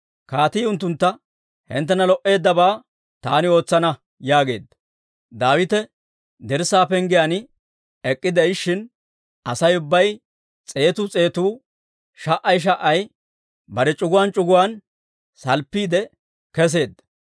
Kaatii unttuntta, «Hinttena lo"eeddabaa taani ootsana» yaageedda. Daawite dirssaa penggiyaan ek'k'ide'ishin, Asay ubbay s'eetu s'eetu, sha"ay sha"ay bare c'uguwaan c'uguwaan salppiide kesseedda.